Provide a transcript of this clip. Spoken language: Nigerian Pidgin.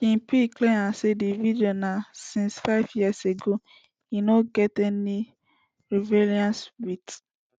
king pee clear am say di video na since five years ago and e no get any relevance wit